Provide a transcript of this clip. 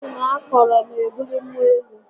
Jiin akọrọ n'ebuli mmụọ elu